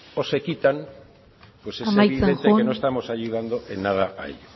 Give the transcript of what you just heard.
o se quitan pues es evidente que no estamos ayudando en nada a ello